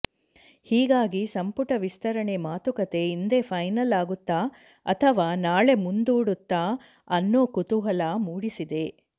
ಹೀಗಾಗಿ ಸಂಪುಟ ವಿಸ್ತರಣೆ ಮಾತುಕತೆ ಇಂದೇ ಫೈನಲ್ ಆಗುತ್ತಾ ಅಥವಾ ನಾಳೆ ಮುಂದೂಡುತ್ತಾ ಅನ್ನೋ ಕುತೂಹಲ ಮೂಡಿಸಿದೆ